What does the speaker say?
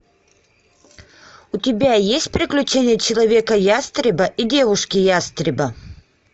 у тебя есть приключения человека ястреба и девушки ястреба